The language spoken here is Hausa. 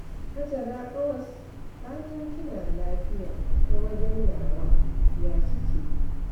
Hajara ƙawas, fatan kina lafiya ta wajen nawa, ya kike?